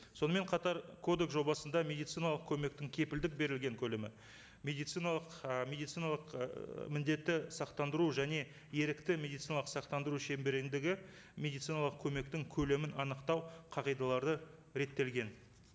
сонымен қатар кодекс жобасында медициналық көмектің кепілдік берілген көлемі медициналық ы медициналық ыыы міндетті сақтандыру және ерікті медициналық сақтандыру шеңберіндегі медициналық көмектің көлемін анықтау қағидалары реттелген